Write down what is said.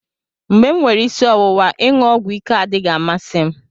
mgbe m nwere isi ọwụwa, iṅụ ọgwụ ike adịghị amasị m